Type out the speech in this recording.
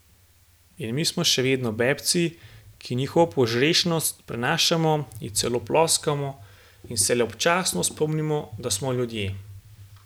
In mi smo še vedno bebci, ki njihovo požrešnost prenašamo, ji celo ploskamo in se le občasno spomnimo, da smo ljudje.